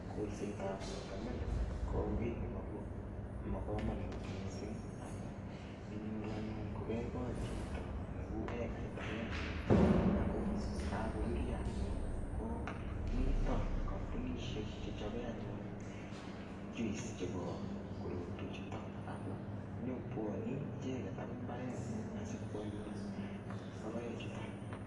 Kolsetab watermelon ko ki nebo kamanut mising amu inyoru anyun kogegol chito neo egait agenge ako kagorurio anyun ko mito kambunisiek che chope anyun juice chebo korotwechuto ako nyokobwanei icheget agoi imbarengung asikwalun logoek chuto.